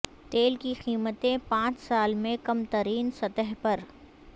تیل کی قیمتیں پانچ سال میں کم ترین سطح پر